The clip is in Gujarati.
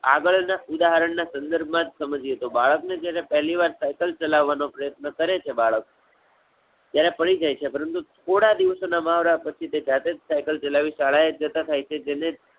આગળ ના ઉદાહરણ ના સંદર્ભ માં જ સમજીએ તો બાળક ને જ્યારે પહેલીવાર cycle ચલાવવાનો પ્રયત્ન કરે છે બાળક, ત્યારે પડી જાય છે પરંતુ થોડા દિવસો ના મહાવરા પછી તે જાતે જ Cycle ચલાવી શાળાએ જતાં થાય છે.